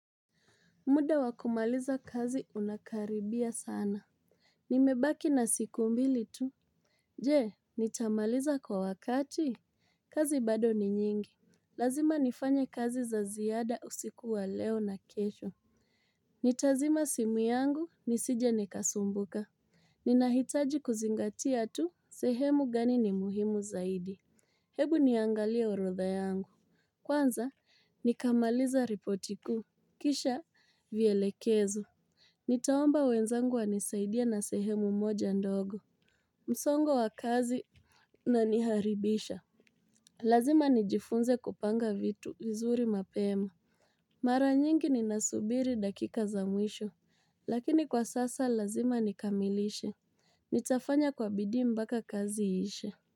Muda wakumaliza kazi unakaribia sana. Nimebaki na siku mbili tu. Je, nitamaliza kwa wakati. Kazi bado ni nyingi. Lazima nifanye kazi za ziyada usikuwa leo na kesho. Nitazima simu yangu nisije nikasumbuka. Ninahitaji kuzingatia tu sehemu gani ni muhimu zaidi. Hebu niangalia urotha yangu. Kwanza, nikamaliza ripotiku. Kisha, vielekezo. Nitaomba wenzangu wa nisaidia na sehemu moja ndogo. Msongo wa kazi una niharibisha. Lazima nijifunze kupanga vitu uzuri mapema. Mara nyingi ni nasubiri dakika za mwisho. Lakini kwa sasa lazima nikamilishe. Nitafanya kwa bidii mbaka kazi iishe.